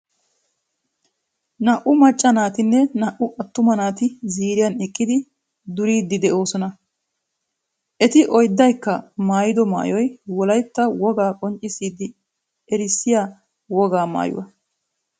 Naa"u macca naatinne naa"u attuma naati ziiriyan eqqidi duriiddi de'oosona. Eti oydaykka maayido maayoy wolaytta wogaa qonccissidi erissiya wogaa maayuwa.